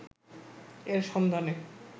এর সন্ধানে